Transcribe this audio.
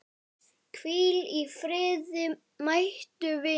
Hvíl í friði mæti vinur.